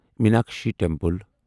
Meenakshi temple